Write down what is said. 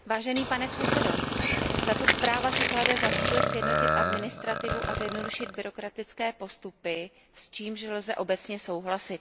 Pane předsedající, tato zpráva si klade za cíl sjednotit administrativu a zjednodušit byrokratické postupy, s čímž lze obecně souhlasit.